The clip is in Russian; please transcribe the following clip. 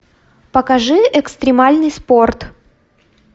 покажи экстремальный спорт